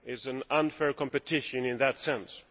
it is unfair competition in that sense.